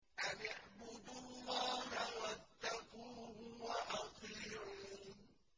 أَنِ اعْبُدُوا اللَّهَ وَاتَّقُوهُ وَأَطِيعُونِ